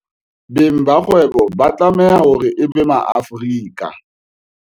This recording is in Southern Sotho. Beng ba dikgwebo ba tlameha e be Maafrika